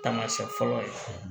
Taamasiyɛn fɔlɔ ye